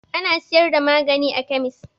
Ana siyar da magani a kemis.